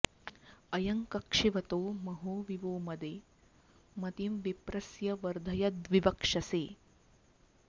अयं कक्षीवतो महो वि वो मदे मतिं विप्रस्य वर्धयद्विवक्षसे